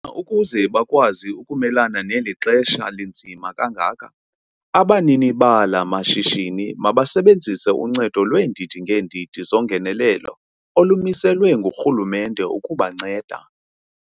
Khona ukuze bakwazi ukumelana neli xesha linzima kangaka, abanini bala mashishini mabasebenzise uncedo lweendidi ngeendidi zongenelelo olumiselwe ngurhulumente ukubanceda.